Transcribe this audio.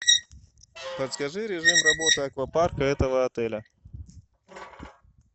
подскажи режим работы аквапарка этого отеля